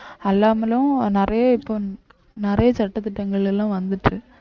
அல்லாமலும் நிறைய இப்போ நிறைய சட்டதிட்டங்கள் எல்லாம் வந்துச்சு